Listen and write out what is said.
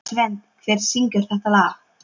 Svend, hver syngur þetta lag?